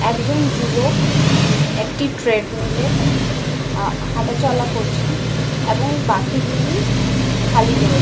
একজন যুবক একটি ট্রেডমিল -এ আ হাঁটাচলা করছেন এবং বাকিগুলি খালি রয়ে --